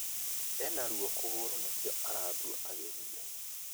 Ena ruo kũgũrũna nĩkĩo arathua agĩthiĩ